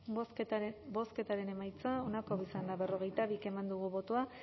bozketaren emaitza onako izan da hirurogeita hamabost eman dugu bozka